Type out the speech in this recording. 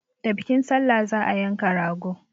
Da bikin salla za a yanka rago.